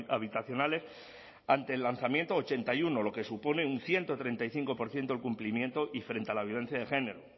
habitacionales ante el lanzamiento ochenta y uno lo que supone un ciento treinta y cinco por ciento del cumplimiento y frente a la violencia de género